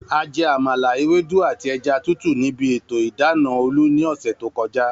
A je̩ àmàla, ewédú àti e̩ja tútù níbi ètò ìdána Olú ní ò̩sè̩ tó ko̩já